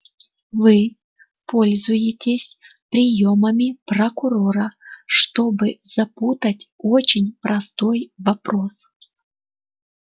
вы пользуетесь приёмами прокурора чтобы запутать очень простой вопрос